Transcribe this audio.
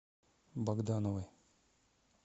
богдановой